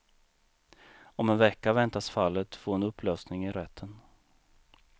Om en vecka väntas fallet få en upplösning i rätten.